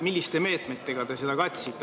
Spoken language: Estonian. Milliste meetmetega te seda katsite?